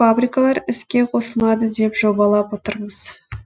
фабрикалар іске қосылады деп жобалап отырмыз